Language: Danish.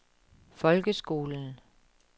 folkeskolen